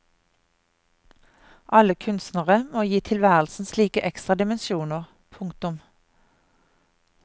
Alle kunstnere må gi tilværelsen slike ekstra dimensjoner. punktum